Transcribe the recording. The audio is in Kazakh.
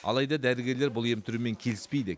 алайда дәрігерлер бұл ем түрімен келіспейді